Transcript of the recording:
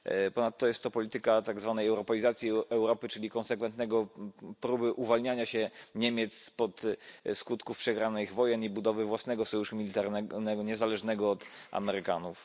Ponadto jest to polityka tak zwanej europeizacji Europy, czyli konsekwentnej próby uwalniania się Niemiec spod skutków przegranych wojen i budowy własnego sojuszu militarnego niezależnego od Amerykanów.